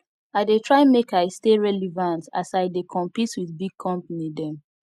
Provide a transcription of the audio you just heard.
i dey try make i stay relevant as i dey compete wit big company dem